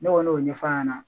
Ne kɔni y'o ɲɛfɔ a ɲɛna